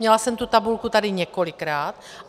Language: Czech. Měla jsem tu tabulku tady několikrát.